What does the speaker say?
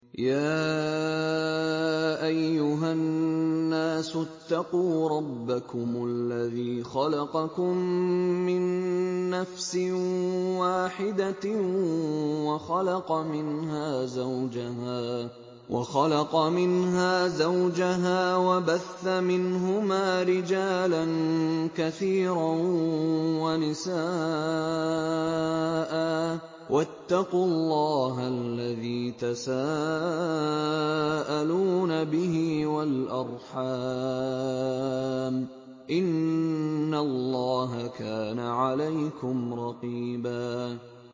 يَا أَيُّهَا النَّاسُ اتَّقُوا رَبَّكُمُ الَّذِي خَلَقَكُم مِّن نَّفْسٍ وَاحِدَةٍ وَخَلَقَ مِنْهَا زَوْجَهَا وَبَثَّ مِنْهُمَا رِجَالًا كَثِيرًا وَنِسَاءً ۚ وَاتَّقُوا اللَّهَ الَّذِي تَسَاءَلُونَ بِهِ وَالْأَرْحَامَ ۚ إِنَّ اللَّهَ كَانَ عَلَيْكُمْ رَقِيبًا